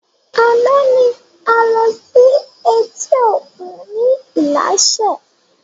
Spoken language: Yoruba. Àná ni a lọ sí etí òkun ni ilaṣẹ